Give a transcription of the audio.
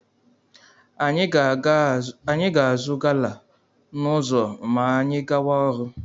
Anyị ga-azụ gala n'ụzọ ma anyị gawa ọrụ.